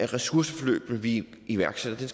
ressourceforløb vi iværksætter